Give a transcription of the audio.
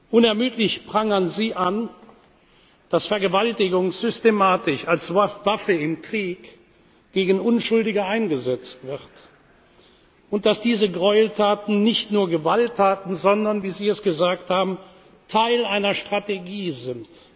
Unermüdlich prangern Sie an, dass Vergewaltigung systematisch als Waffe im Krieg gegen Unschuldige eingesetzt wird und dass diese Gräueltaten nicht nur Gewalttaten, sondern, wie Sie es gesagt haben, Teil einer Strategie